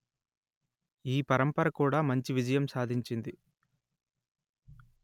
ఈ పరంపర కూడా మంచి విజయం సాధించింది